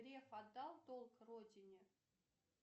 греф отдал долг родине